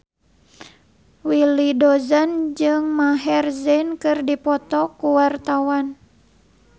Willy Dozan jeung Maher Zein keur dipoto ku wartawan